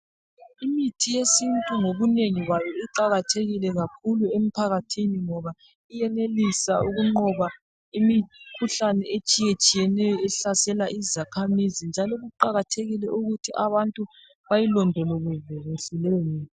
Imithi yesintu ngobunengi bayo iqakathekile kakhulu emphakathini ngoba iyenelisa ukunqoba imikhuhlane etshiyatshiyeneyo ehlasela izakhamizi njalo kuqakathekile ukuthi abantu bayilondoloze leyomithi.